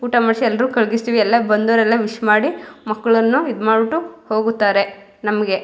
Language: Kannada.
ಊಟ ಮಾಡ್ಸಿ ಎಲ್ಲರೂ ಕರಗಿಸ್ತಿವಿ ಎಲ್ಲ ಬಂದವ್ರೆಲ್ಲ ವಿಶ್ ಮಾಡಿ ಮಕ್ಕಳನ್ನ ಈದ್ ಮಾಡಿಬಿಟ್ಟು ಹೋಗುತ್ತಾರೆ ನಮಗೆ.